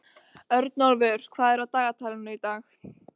Örnólfur, hvað er á dagatalinu í dag?